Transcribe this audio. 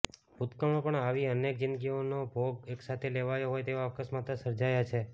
ભૂતકાળમાં પણ આવી અનેક જીંદગીઓનો ભોગ એકસાથે લેવાયો હોય તેવા અકસ્માતો સર્જાયા છે